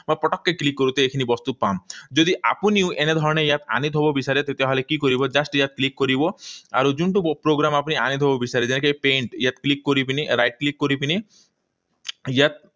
মই পটককৈ click কৰোঁতে এইখিনি বস্তু পাম। যদি আপুনিও এনে ধৰণেৰে ইয়াত আনি থব বিচাৰে, তেতিয়া হলে কি কৰিব? Just ইয়াত click কৰিব, আৰু যোনটো program আপুনি আনি থব বিচাৰিছে, সেই paint ইয়াত click কৰি পিনি, right click কৰি পিনি, ইয়াত